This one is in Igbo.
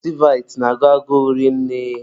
Mọltịvaịtị na-agụ agụrụ rinne.